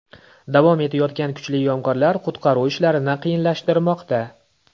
Davom etayotgan kuchli yomg‘irlar qutqaruv ishlarini qiyinlashtirmoqda.